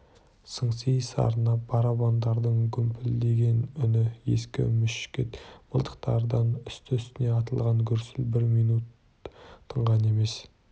сыңси сарнап барабандардың гүмпілдеген үні ескі мушкет мылтықтардан үсті-үстіне атылған гүрсіл бір минут тынған емес